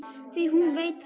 Því hún veit það.